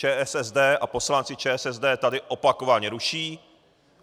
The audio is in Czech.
ČSSD a poslanci ČSSD tady opakovaně ruší.